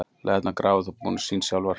Læðurnar grafa þó búin sín sjálfar.